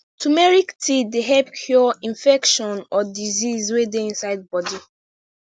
turmeric tea dey help cure infection or disease wey dey inside body